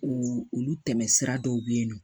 U olu tɛmɛsira dɔw bɛ yen nɔ